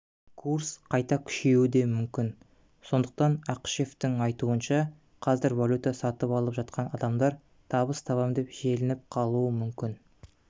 курс қайта күшеюі де мүмкін сондықтан ақышевтің айтуынша қазір валюта сатып алып жатқан адамдар табыс табам деп желініп қалуы мүмкін